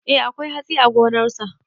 Eh akwai hatsi a gonarsa.